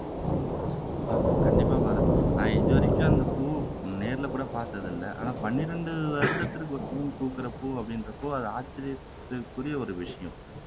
ஆஹ் கண்டிப்பா பாரத் நான் இதுவரைக்கும் அந்த பூவை நேர்லகூட பாத்ததில்லை ஆனா பன்னிரண்டு வருடத்துக்கு ஒரு பூ பூக்கிற பூ அப்படின்றப்போ அது ஆச்சரியத்திற்குறிய ஒரு விஷயம்